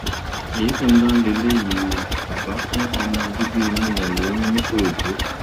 kàyééfì ńlá leléyìí ò bàbá fún ọmọ bíbí inú ẹ ẹ lóyún ńìkòròdú